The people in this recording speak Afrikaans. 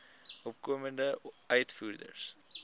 opkomende uitvoerders